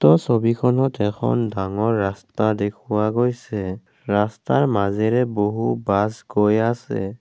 ছবিখনত এখন ডাঙৰ ৰাস্তা দেখুওৱা গৈছে ৰাস্তাৰ মাজেৰে বহু বাছ গৈ আছে।